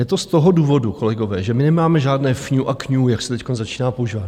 Je to z toho důvodu, kolegové, že my nemáme žádné fňú a kňú, jak se teď začíná používat.